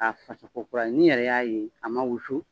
Ka fasa ko kurani n yɛrɛ y'a ye a ma wusu